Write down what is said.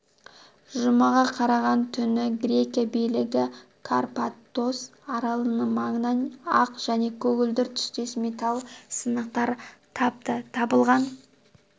жұмаға қараған түні грекия билігі карпатос аралының маңынан ақ және көгілдір түстес металл сынықтар тапты табылған